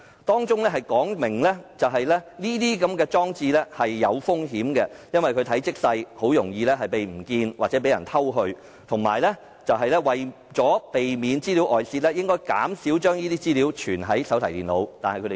當中說明使用這些裝置有一定風險，因為它們體積細小，容易遺失或被盜，而且為避免資料外泄，應減少將保密資料儲存在手提電腦。